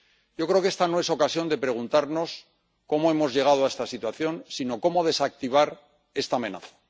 Yo creo que esta no es ocasión de preguntarnos cómo hemos llegado a esta situación, sino cómo desactivar esta amenaza.